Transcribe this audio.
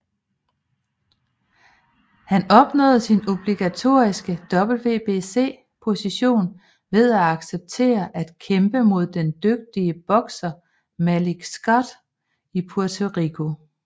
Han opnåede sin obligatoriske WBC position ved at acceptere at kæmpe mod den dygtige bokser Malik Scott i Puerto Rico